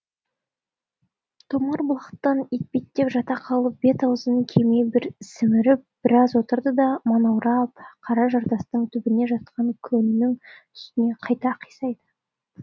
томар бұлақтан етпеттеп жата қалып бет аузын кеме бір сіміріп біраз отырды да манаурап қара жартастың түбінде жатқан көннің үстіне қайта қисайды